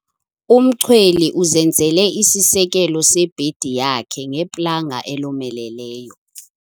Umchweli uzenzele isisekelo sebhedi yakhe ngeplanga elomeleleyo.